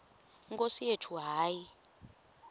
nkosi yethu hayi